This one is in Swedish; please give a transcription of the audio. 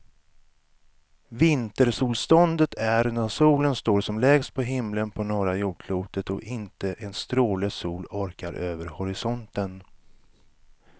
Vintersolståndet är när solen står som lägst på himlen på norra jordklotet och inte en stråle sol orkar över horisonten.